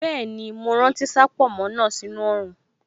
Bẹ́ẹ̀ni, mo rántí láti sá pònmó náà sí inú oòrùn